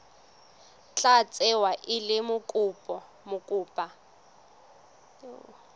tla tsewa e le mokopa